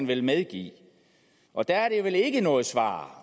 vel medgive og der er det vel ikke noget svar